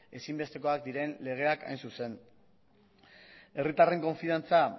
ezinbestekoak diren legeak hain zuzen herritarren konfidantza